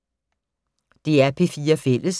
DR P4 Fælles